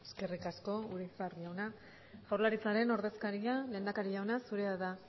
eskerrik asko urizar jauna jaurlaritzaren ordezkaria lehendakari jauna zurea da